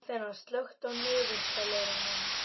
Aþena, slökktu á niðurteljaranum.